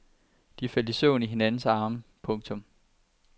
De faldt i søvn i hinandens arme. punktum